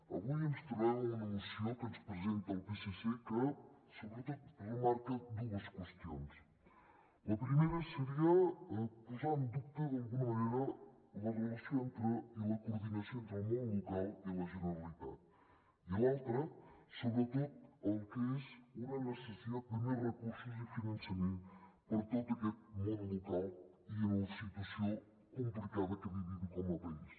avui ens trobem amb una moció que ens presenta el psc que sobretot remarca dues qüestions la primera seria posar en dubte d’alguna manera la relació i la coordinació entre el món local i la generalitat i l’altra sobretot el que és una necessitat de més recursos i finançament per a tot aquest món local i en la situació complicada que vivim com a país